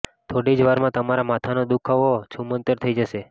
થોડી જ વારમાં તમારા માથાનો દુખાવો છૂમંતર થઈ જશે